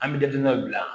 An bɛ datugu dɔ bila